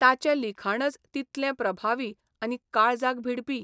ताचें लिखाणच तितलें प्रभावी आनी काळजाक भिडपी.